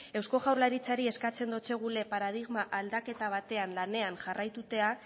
eusko jaurlaritzari eskatzen dotsegule paradigma aldaketa batean lanean jarraitutea